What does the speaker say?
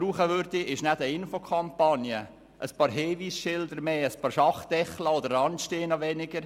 Dann würde es aber eine Infokampagne brauchen, einige Hinweisschilder mehr und einige Schachtdeckel oder Randsteine weniger.